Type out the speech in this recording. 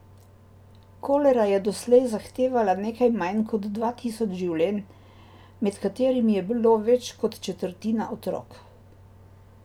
Kolera je doslej zahtevala nekaj manj kot dva tisoč življenj, med katerimi je bilo več kot četrtina otrok.